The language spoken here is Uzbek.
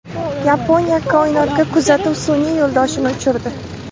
Yaponiya koinotga kuzatuv sun’iy yo‘ldoshini uchirdi.